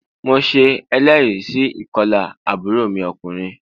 Mo se eléèrí sí ìkolà àbúrò mi okùnrin